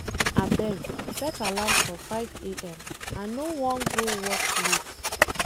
Abeg, set alarm for 5 a.m I no wan go work late.